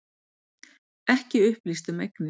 Ekki upplýst um eignir